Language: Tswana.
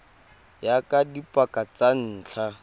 ya ka dipaka tsa ntlha